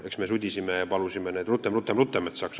Eks me sudisime ja palusime neid, et saaks rutem-rutem-rutem.